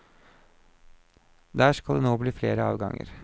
Der skal det nå bli flere avganger.